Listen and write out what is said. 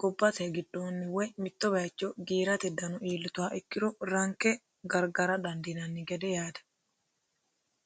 gobbate giddoni woyi mitto baayicho giiratte dano ilittuha ikkiro ranikke garigara danidinanni gede